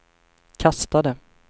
kastade